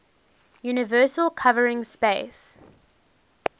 universal covering space